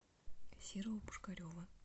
серого пушкарева